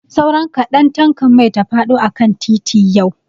Sauran kaɗan tankan mai ta faɗo akan titi yau.